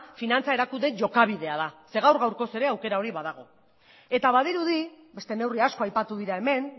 finantza erakunde jokabidea da zeren eta gaur gaurkoz ere aukera hori badago eta badirudi beste neurri asko aipatu dira hemen